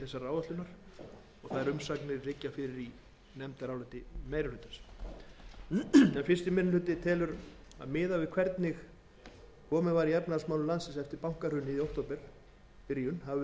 umsagnir liggja fyrir í nefndaráliti meiri hlutans fyrsti minni hluti telur að miðað við hvernig komið var í efnahagsmálum landsins eftir bankahrunið í byrjun október hafi verið rétt af hálfu